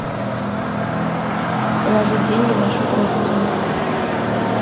положить деньги на счет родственнику